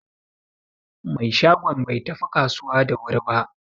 Mai shagon bai tafi kasuwa da wuri ba.